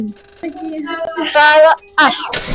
Bara allt.